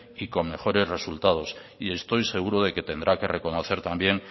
y con mejores resultados y estoy seguro de que tendrá que reconocer también